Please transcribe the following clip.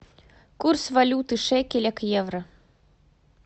курс валюты шекеля к евро